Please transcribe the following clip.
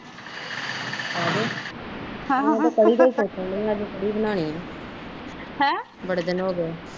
ਆਜੋ ਅੱਜ ਮੈਂ ਕੜੀ ਦਾ ਸੋਚਣ ਦਈਂ ਆ ਕੜੀ ਬਣਾਉਣੀਆਂ ਬੜੇ ਦਿਨ ਹੋ ਗਏ ਆ